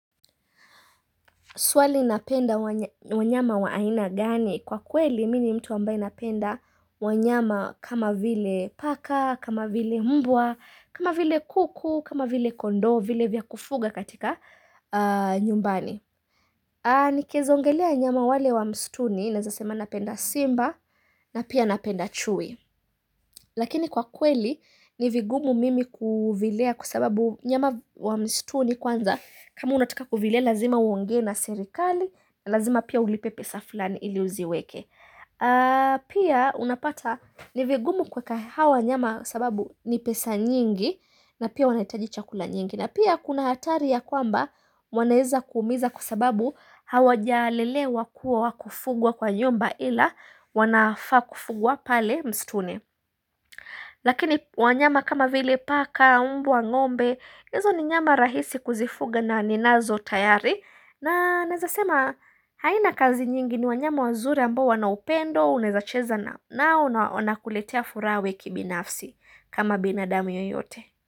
Swali napenda wanyama wa aina gani? Kwa kweli, mi ni mtu ambaye napenda wanyama kama vile paka, kama vile mbwa, kama vile kuku, kama vile kondoo, vile vya kufuga katika nyumbani. Nikiweza ongelea wanyama wale wa mstuni naeza sema napenda simba na pia napenda chui Lakini kwa kweli ni vigumu mimi kuvilea kwa sababu nyama wa mstuni kwanza kama unataka kuvilea lazima uongee na serikali, lazima pia ulipe pesa fulani ili uziweke Pia unapata ni vigumu kuweka hawa wanyama kwa sababu ni pesa nyingi na pia wanahitaji chakula nyingi na pia kuna hatari ya kwamba wanaweza kuumiza kwa sababu hawajalelewa kuwa wa kufugwa kwa nyumba ila wanafaa kufugwa pale mstuni. Lakini wanyama kama vile paka, umbwa ngombe, hizo ni wanyama rahisi kuzifuga na ninazo tayari. Na naezasema haina kazi nyingi ni wanyama wazuri ambao wana upendo, unaeza cheza na nao wanakuletea furaha kibinafsi kama binadamu yoyote.